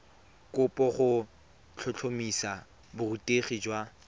kopo go tlhotlhomisa borutegi jwa